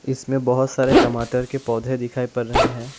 इसमें बहोत सारे टमाटर के पौधे दिखाई पड़ रहे हैं।